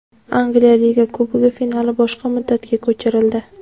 Angliya Liga Kubogi finali boshqa muddatga ko‘chirildi.